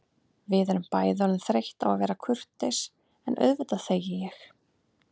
Við erum bæði orðin þreytt á að vera kurteis en auðvitað þegi ég.